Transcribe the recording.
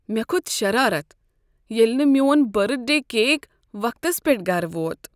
مےٚ کھوٚت شرارت ییٚلہ نہٕ میون برتھ ڈے کیک وقتس پیٹھ گرٕ ووت۔